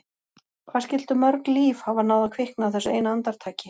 Hvað skyldu mörg líf hafa náð að kvikna á þessu eina andartaki?